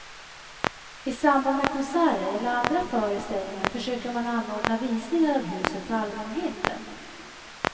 I samband med konserter eller andra föreställningar försöker man anordna visningar av huset för allmänheten.